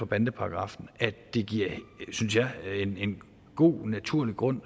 bandeparagraffen det giver synes jeg en god naturlig grund